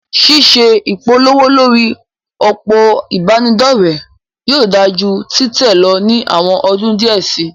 Ṣíṣe ìpolówó lórí òpó ìbánidọ́rẹ̀ yóò dáa ju títẹ̀ lọ ní àwọn ọdún díẹ̀ síi.